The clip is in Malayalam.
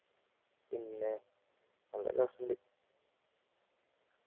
പിന്നെ നല്ല രസമുണ്ട്